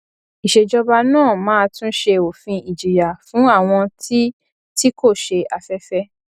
ìsèjọba náà máa tún ṣe òfin ìjìyà fún àwọn tí tí kò ṣe afẹfẹ